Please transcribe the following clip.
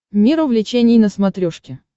мир увлечений на смотрешке